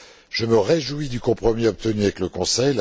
Je me réjouis du compromis obtenu avec le Conseil.